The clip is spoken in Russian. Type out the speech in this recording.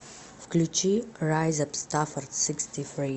включи райзап стаффорд сиксти фри